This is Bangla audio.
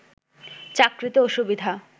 চাকরিতে অসুবিধা